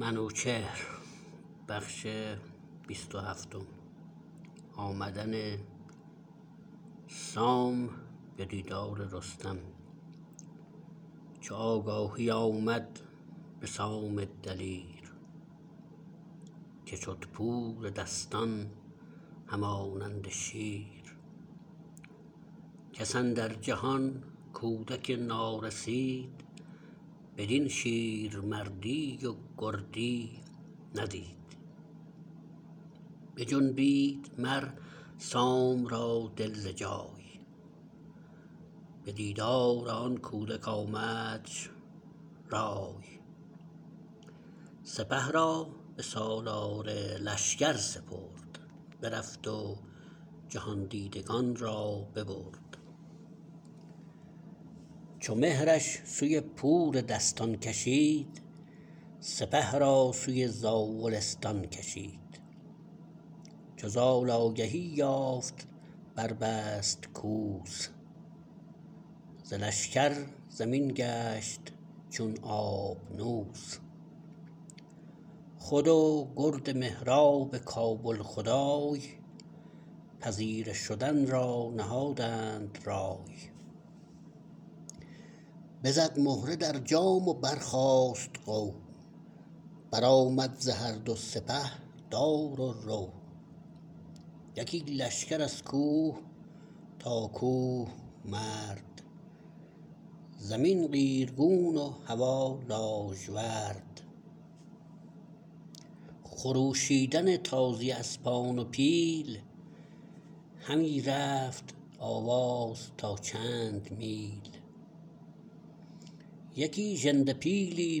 چو آگاهی آمد به سام دلیر که شد پور دستان همانند شیر کس اندر جهان کودک نارسید بدین شیر مردی و گردی ندید بجنبید مرسام را دل ز جای به دیدار آن کودک آمدش رای سپه را به سالار لشکر سپرد برفت و جهاندیدگان را ببرد چو مهرش سوی پور دستان کشید سپه را سوی زاولستان کشید چو زال آگهی یافت بر بست کوس ز لشکر زمین گشت چون آبنوس خود و گرد مهراب کابل خدای پذیره شدن را نهادند رای بزد مهره در جام و برخاست غو برآمد ز هر دو سپه دار و رو یکی لشکر از کوه تا کوه مرد زمین قیرگون و هوا لاژورد خروشیدن تازی اسپان و پیل همی رفت آواز تا چند میل یکی ژنده پیلی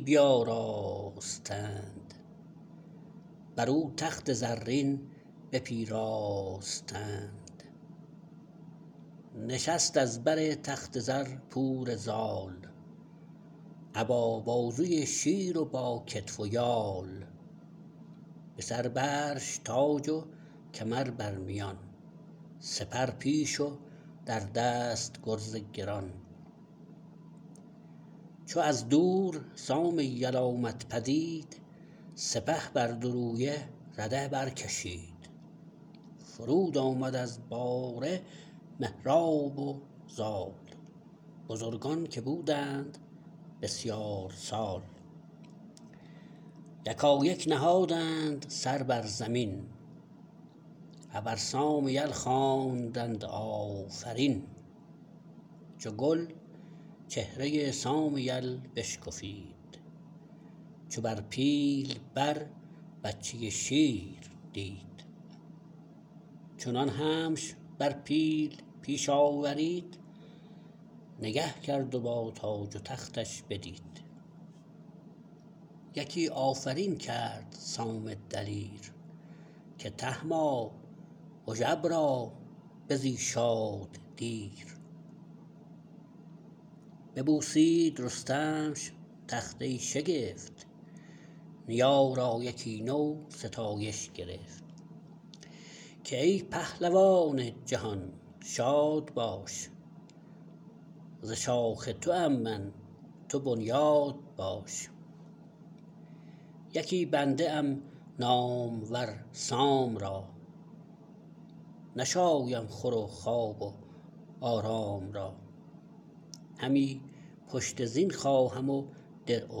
بیاراستند برو تخت زرین بپیراستند نشست از بر تخت زر پور زال ابا بازوی شیر و با کتف و یال به سر برش تاج و کمر بر میان سپر پیش و در دست گرز گران چو از دور سام یل آمد پدید سپه بر دو رویه رده برکشید فرود آمد از باره مهراب و زال بزرگان که بودند بسیار سال یکایک نهادند سر بر زمین ابر سام یل خواندند آفرین چو گل چهره سام یل بشکفید چو بر پیل بر بچه شیر دید چنان همش بر پیل پیش آورید نگه کرد و با تاج و تختش بدید یکی آفرین کرد سام دلیر که تهما هژبرا بزی شاد دیر ببوسید رستمش تخت ای شگفت نیا را یکی نو ستایش گرفت که ای پهلوان جهان شاد باش ز شاخ توام من تو بنیاد باش یکی بنده ام نامور سام را نشایم خور و خواب و آرام را همی پشت زین خواهم و درع و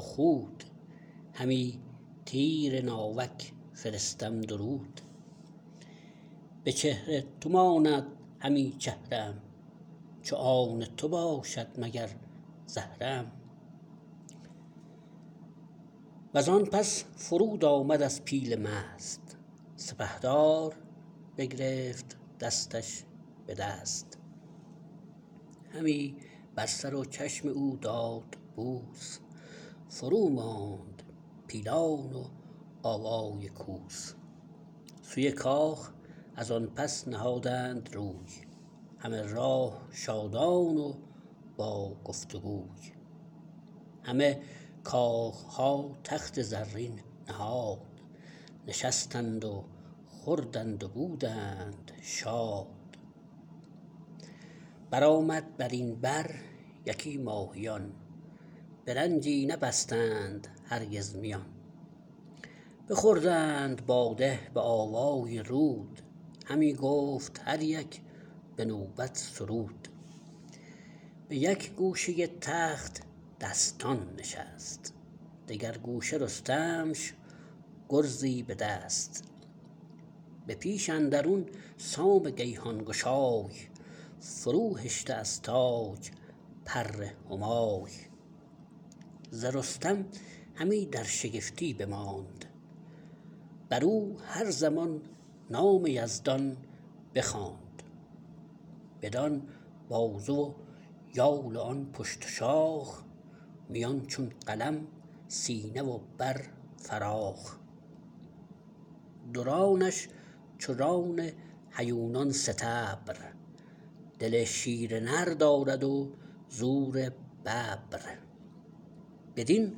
خود همی تیر ناوک فرستم درود به چهر تو ماند همی چهره ام چو آن تو باشد مگر زهره ام وزان پس فرود آمد از پیل مست سپهدار بگرفت دستش بدست همی بر سر و چشم او داد بوس فروماند پیلان و آوای کوس سوی کاخ ازان پس نهادند روی همه راه شادان و با گفت وگوی همه کاخها تخت زرین نهاد نشستند و خوردند و بودند شاد برآمد برین بر یکی ماهیان به رنجی نبستند هرگز میان بخوردند باده به آوای رود همی گفت هر یک به نوبت سرود به یک گوشه تخت دستان نشست دگر گوشه رستمش گرزی به دست به پیش اندرون سام گیهان گشای فرو هشته از تاج پر همای ز رستم همی در شگفتی بماند برو هر زمان نام یزدان بخواند بدان بازوی و یال و آن پشت و شاخ میان چون قلم سینه و بر فراخ دو رانش چو ران هیونان ستبر دل شیر نر دارد و زور ببر بدین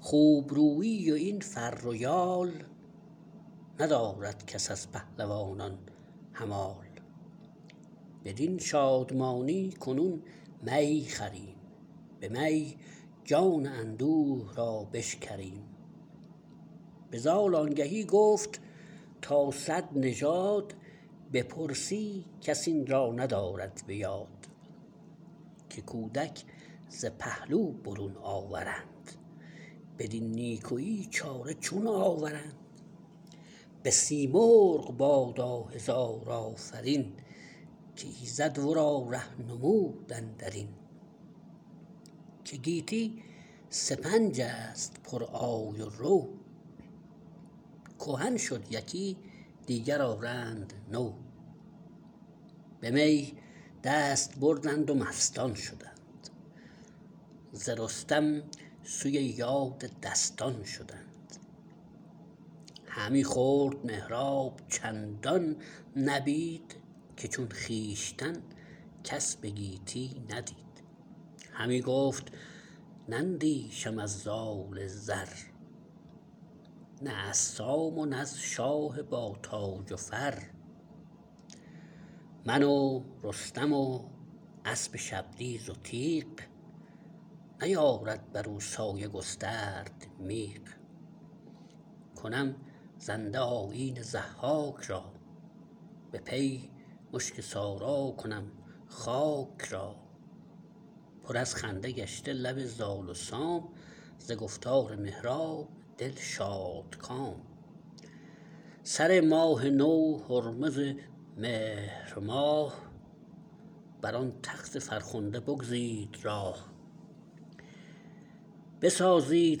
خوب رویی و این فر و یال ندارد کس از پهلوانان همال بدین شادمانی کنون می خوریم به می جان اندوه را بشکریم به زال آنگهی گفت تا صد نژاد بپرسی کس این را ندارد بیاد که کودک ز پهلو برون آورند بدین نیکویی چاره چون آورند بسیمرغ بادا هزار آفرین که ایزد ورا ره نمود اندرین که گیتی سپنجست پر آی و رو کهن شد یکی دیگر آرند نو به می دست بردند و مستان شدند ز رستم سوی یاد دستان شدند همی خورد مهراب چندان نبید که چون خویشتن کس به گیتی ندید همی گفت نندیشم از زال زر نه از سام و نز شاه با تاج و فر من و رستم و اسب شبدیز و تیغ نیارد برو سایه گسترد میغ کنم زنده آیین ضحاک را به پی مشک سارا کنم خاک را پر از خنده گشته لب زال و سام ز گفتار مهراب دل شادکام سر ماه نو هرمز مهرماه بران تخت فرخنده بگزید راه بسازید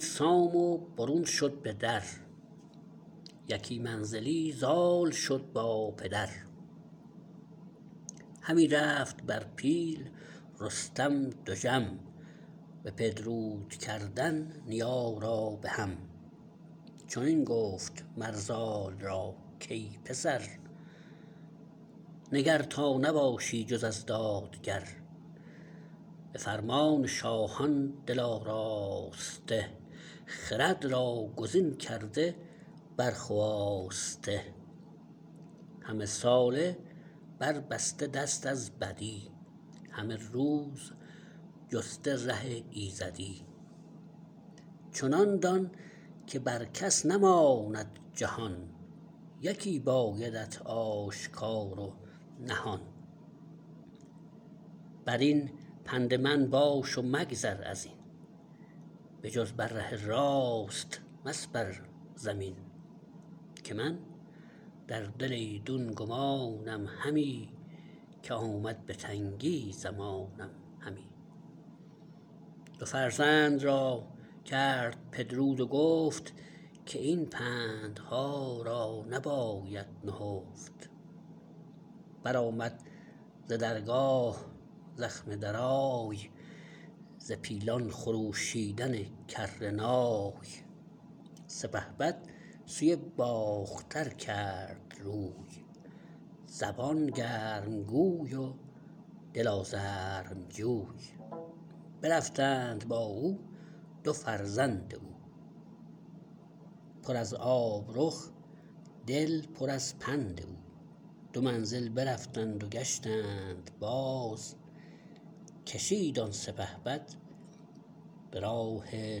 سام و برون شد به در یکی منزلی زال شد با پدر همی رفت بر پیل رستم دژم به پدرود کردن نیا را به هم چنین گفت مر زال را کای پسر نگر تا نباشی جز از دادگر به فرمان شاهان دل آراسته خرد را گزین کرده بر خواسته همه ساله بر بسته دست از بدی همه روز جسته ره ایزدی چنان دان که بر کس نماند جهان یکی بایدت آشکار و نهان برین پند من باش و مگذر ازین بجز بر ره راست مسپر زمین که من در دل ایدون گمانم همی که آمد به تنگی زمانم همی دو فرزند را کرد پدرود و گفت که این پندها را نباید نهفت برآمد ز درگاه زخم درای ز پیلان خروشیدن کرنای سپهبد سوی باختر کرد روی زبان گرم گوی و دل آزرم جوی برفتند با او دو فرزند او پر از آب رخ دل پر از پند او دو منزل برفتند و گشتند باز کشید آن سپهبد براه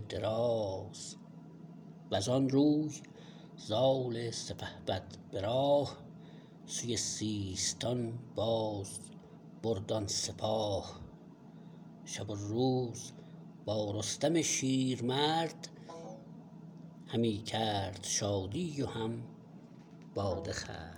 دراز وزان روی زال سپهبد به راه سوی سیستان باز برد آن سپاه شب و روز با رستم شیرمرد همی کرد شادی و هم باده خورد